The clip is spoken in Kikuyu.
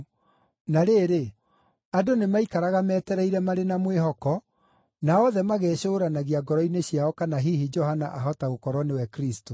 Na rĩrĩ, andũ nĩmaikaraga metereire marĩ na mwĩhoko, na othe magecũũranagia ngoro-inĩ ciao kana hihi Johana ahota gũkorwo nĩwe Kristũ.